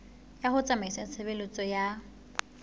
ya ho tsamaisa tshebeletso ya